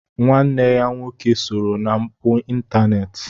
Nwanne ya nwoke sooro na mpụ ịntaneti.